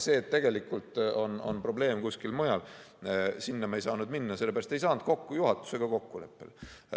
Tegelikult on probleem kusagil mujal, aga sinna me ei saanud minna, sellepärast et me ei saanud juhatusega kokkuleppele.